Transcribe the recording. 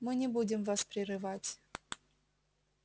мы не будем вас прерывать